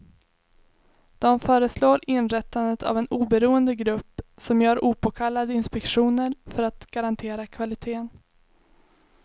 De föreslår inrättandet av en oberoende grupp som gör opåkallade inspektioner för att garantera kvaliteten.